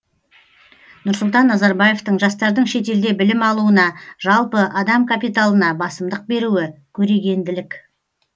нұрсұлтан назарбаевтың жастардың шетелде білім алуына жалпы адам капиталына басымдық беруі көрегенділік